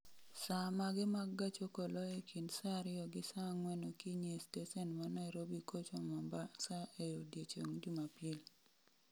Saa mage mag gach okolo e kind saa ariyo gi saa ang'wen okinyi e stesen ma Nairobi kocho mombasa e odiechieng' jumapil